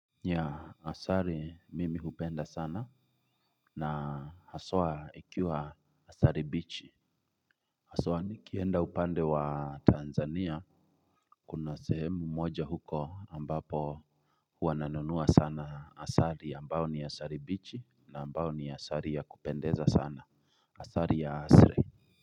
Asali mimi hupenda sana na haswa ikiwa asali bichi haswa nikienda upande wa Tanzania kuna sehemu moja huko ambapo huwa nanunua sana asali ambao ni asali bichi na ambao ni asali ya kupendeza sana asali ya asili.